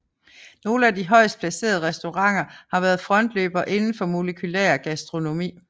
Nogle af de højest placerede restauranter har været frontløbere inden for molekylær gastronomi